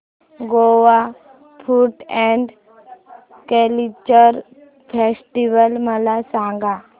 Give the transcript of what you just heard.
Goa food and culture festival मला सांगा